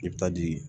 I bɛ taa di